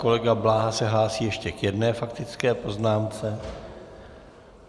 Kolega Bláha se hlásí ještě k jedné faktické poznámce.